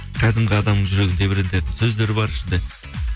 кәдімгі адамның жүрегін тебірентетін сөздер бар ішінде